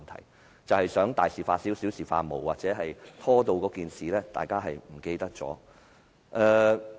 那就是想大事化小，小事化無，或者把事情拖延至大家忘記為止。